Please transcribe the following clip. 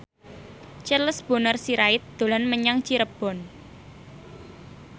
Charles Bonar Sirait dolan menyang Cirebon